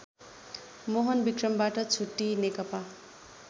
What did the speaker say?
मोहनविक्रमबाट छुट्टीई नेकपा